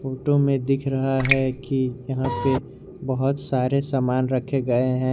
Photo में दिख रहा है कि यहां पे बहोत सारे सामान रखे गए हैं।